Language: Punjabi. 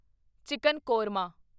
ਚਿਕਨ ਕੋਰਮਾ